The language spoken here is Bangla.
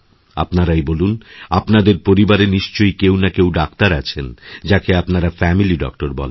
আপনারাইবলুন আপনাদের পরিবারে নিশ্চয়ই কেউ না কেউ ডাক্তার আছেন যাঁকে আপনারা ফেমিলি ডক্টর বলেন